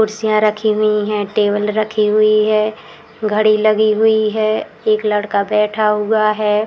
कुर्सियाँ रखी हुई है। टेबल रखी हुई हैं। घड़ी लगी हुई है। एक लड़का बैठा हुआ है।